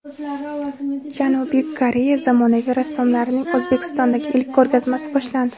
Janubiy Koreya zamonaviy rassomlarining O‘zbekistondagi ilk ko‘rgazmasi boshlandi.